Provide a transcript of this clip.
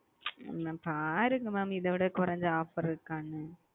mam பாருங்க mam இதைவிட கொறஞ்ச offer இருக்கானு